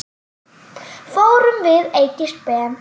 Fórum við Eydís Ben.